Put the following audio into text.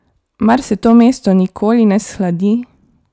Mar se to mesto nikoli ne shladi?